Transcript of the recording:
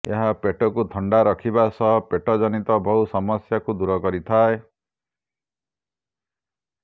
ଏହା ପେଟକୁ ଥଣ୍ଡା ରଖିବା ସହ ପେଟ ଜନିତ ବହୁ ସମସ୍ୟାକୁ ଦୂର କରିଥାଏ